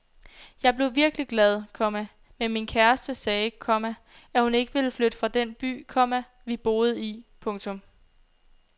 Jeg blev virkelig glad, komma men min kæreste sagde, komma at hun ikke ville flytte fra den by, komma vi boede i. punktum